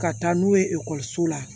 Ka taa n'u ye ekɔliso la